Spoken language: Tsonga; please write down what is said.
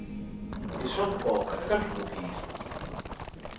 i swa nkoka eka nhluvukiso